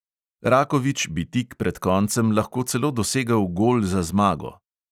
Rakovič bi tik pred koncem lahko celo dosegel gol za zmago.